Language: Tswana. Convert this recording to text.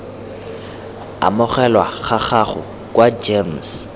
amogelwa ga gago kwa gems